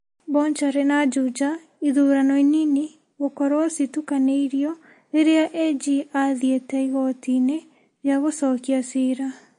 Bonchari na Juja, ithurano inini gũkorwo citukanĩirwo rĩrĩa AG athiĩte igoti-inĩ rĩa gũcokia ciira.